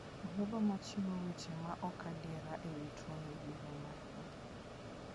Jogo ma chiwo weche ma ok adier e wi tuono ibiro mak.